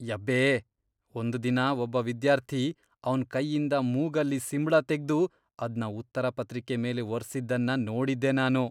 ಯಬ್ಬೇ.. ಒಂದ್ ದಿನ ಒಬ್ಬ ವಿದ್ಯಾರ್ಥಿ ಅವ್ನ್ ಕೈಯಿಂದ ಮೂಗಲ್ಲಿ ಸಿಂಬ್ಳ ತೆಗ್ದು ಅದ್ನ ಉತ್ತರ ಪತ್ರಿಕೆ ಮೇಲೆ ಒರ್ಸಿದ್ದನ್ನ ನೋಡಿದ್ದೆ ನಾನು.